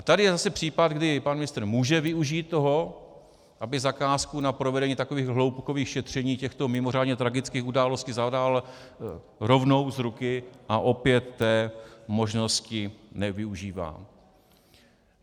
A tady je zase případ, kdy pan ministr může využít toho, aby zakázku na provedení takových hloubkových šetření těchto mimořádně tragických událostí zadal rovnou z ruky, a opět té možnosti nevyužívá.